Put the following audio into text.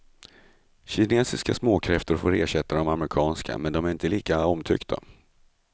Kinesiska småkräftor får ersätta de amerikanska, men de är inte lika omtyckta.